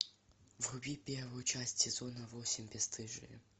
вруби первую часть сезона восемь бесстыжие